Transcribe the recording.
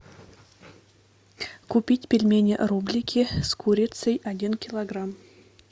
купить пельмени рублики с курицей один килограмм